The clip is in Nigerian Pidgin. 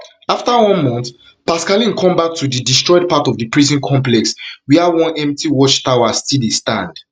afta one month pascaline come back to di destroyed part of di prison complex wia one empty watch tower still dey stand